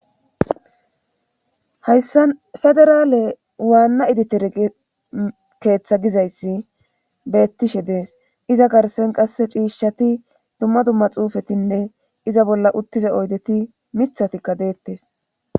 Hayssan federaale waanna editere gi keetha gizayssi beettishe dees iza garssen qasse chiishati dumma dumma xuufetinne iza bolla uttiza oydeti mithatikka deetees.